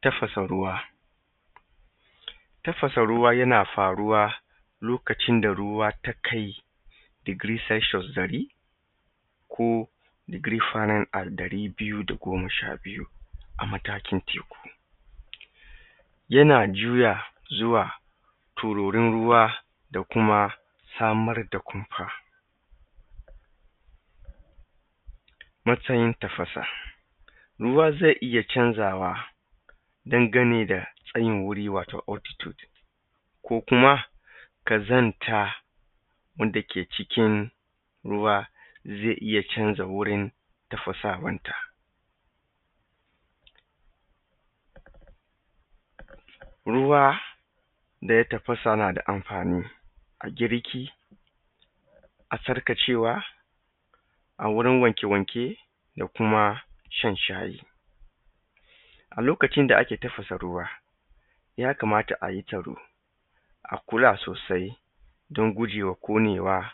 Tafasa ruwa. Tafasa ruwa yana faruwa lokacin da ruwa ta kai degree Celsius ɗari ko degree Fahrenheit ɗari biyu da goma sha biyu a matakin taiku. Yana juyawa zuwa tiririn ruwa da kuma samar da kumfa. Matsayin tafasa ruwa zai iya canzawa dan ganin da tsayin wuri wato oddity, ko kuma ƙazanta wanda ke cikin ruwa zai iya canza wurin tafasawan ta. Ruwa da ya tafasa yana da amfanin a girki, a sarƙacewa a wurin wanke wanke, da kuma shan shayi. A lokacin da ake tafasa ruwa ya kamata a yi taro, a kula sosai don gujewa ƙonewa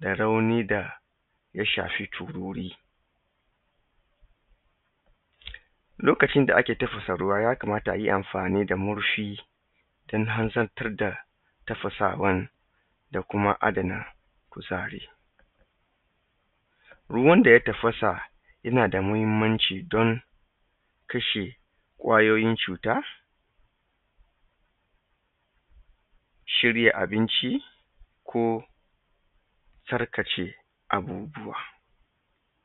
da raunin da ya shafi tururi. Lokacin da ake tafasa ruwa ya kamata a yi amfani da murfi oan harzantar da tafasawa, da kuma adana kuzari. Ruwan da ya tafasa yana da muhinmanci don kashe ƙwayoyin cuta, cire abinci, ko tsarkake abubuwa.